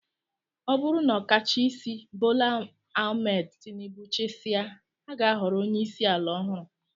Ọ bụrụ na ọkachaisi Bola Ahmed Tinibu chịsịa, a ga-ahọrọ onyeisi ala ọhụrụ